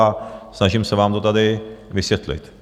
A snažím se vám to tady vysvětlit.